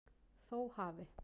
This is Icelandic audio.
Þó hafi